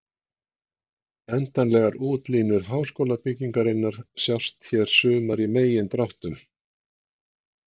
Endanlegar útlínur háskólabyggingarinnar sjást hér sumar í megindráttum.